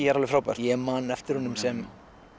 er alveg frábær ég man eftir honum sem